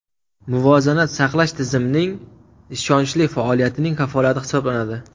Muvozanat saqlash tizimning ishonchli faoliyatining kafolati hisoblanadi.